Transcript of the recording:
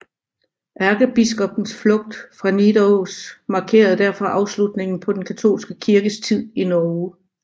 Ærkebiskoppens flugt fra Nidaros markerede derfor afslutningen på den katolske kirkes tid i Norge